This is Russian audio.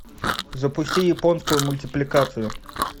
запусти японскую мультипликацию